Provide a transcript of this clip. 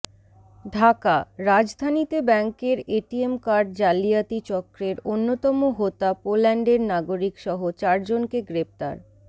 ঢাকাঃ রাজধানীতে ব্যাংকের ATM card জালিয়াতি চক্রের অন্যতম হোতা পোল্যান্ডের নাগরিকসহ চারজনকে গ্রেপ্তার